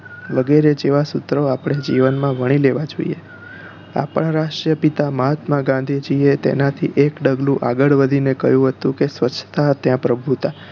વગેરે જેવા સૂત્રો આપણે જીવન માં વણી લેવા જોઈએ આપણાં રાષ્ટ્રીય પિતા મહાત્મા ગાંધીજી એ તેનાથી એક પગલું આગળ વધી ને કહ્યું હતું કે સ્વચ્છતા ત્યાં પ્રભુતા